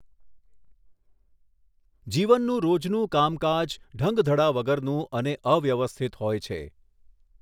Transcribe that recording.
જીવનનું રોજનું કામકાજ ઢંગધડા વગરનું અને અવ્યવસ્થિત હોય છે.